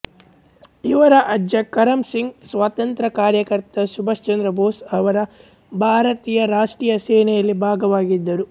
ಇವರ ಅಜ್ಜ ಕರಮ್ ಸಿಂಗ್ ಸ್ವಾತಂತ್ರ್ಯ ಕಾರ್ಯಕರ್ತ ಸುಭಾಸ್ ಚಂದ್ರ ಬೋಸ್ ಅವರ ಭಾರತೀಯ ರಾಷ್ಟ್ರೀಯ ಸೇನೆಯಲ್ಲಿ ಭಾಗವಾಗಿದ್ದರು